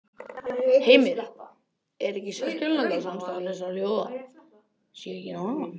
Heimir: Er ekki sérkennilegt að samstarf þessara þjóða sé ekki nánara?